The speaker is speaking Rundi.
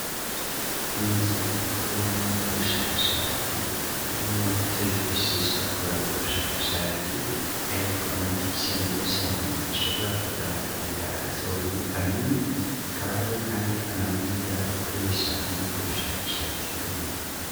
Inzu bakoreramwo ubushakashatsi, irimwo ivyo bifashisha bakora ubwo bushakashatsi, hariko amadirisha meza cane ashobora kuzana akayaga, agasohohora imyuka mibi, hakaba hariyo kandi ama meza bakoresha muri ubwo bushakashatsi nyene.